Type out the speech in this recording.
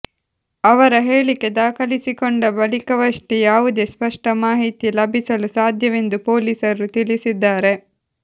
ಅವರ ಹೇಳಿಕೆ ದಾಖಲಿಸಿಕೊಂಡ ಬಳಿಕವಷ್ಟೇ ಯಾವುದೇ ಸ್ಪಷ್ಟ ಮಾಹಿತಿ ಲಭಿಸಲು ಸಾಧ್ಯವೆಂದು ಪೊಲೀಸರು ತಿಳಿಸಿದ್ದಾರೆ